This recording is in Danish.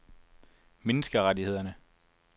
menneskerettighederne